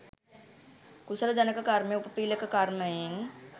කුසල ජනක කර්මය උපපීළක කර්මයෙන්